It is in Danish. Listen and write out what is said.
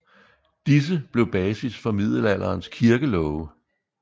Disse blev basis for middelalderens kirkelove